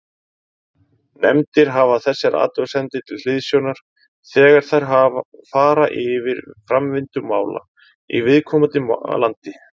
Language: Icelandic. Nefndir hafa þessar athugasemdir til hliðsjónar þegar þær fara yfir framvindu mála í viðkomandi landi.